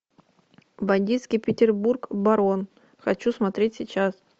бандитский петербург барон хочу смотреть сейчас